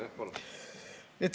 Jah, palun!